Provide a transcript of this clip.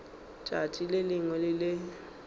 letšatši le lengwe le le